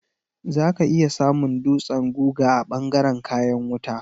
Za ka iya samun dutsen guga a ɓangaren kayan wuta.